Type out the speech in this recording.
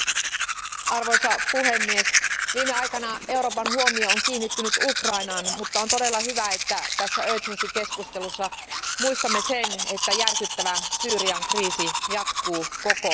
Arvoisa puhemies, viime aikana Euroopan huomio on kiinnittynyt Ukrainaan, mutta on todella hyvä, että tässä keskustelussa muistamme sen, että järkyttävä Syyrian kriisi jatkuu koko ajan.